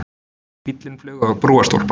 Bíllinn flaug á brúarstólpa